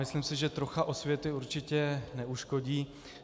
Myslím si, že trocha osvěty určitě neuškodí.